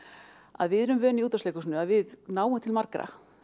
að við erum vön í Útvarpsleikhúsinu að við náum til margra